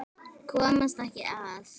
Komast ekki að.